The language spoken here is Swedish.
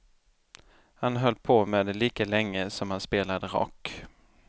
Han höll på med det lika länge som han spelade rock.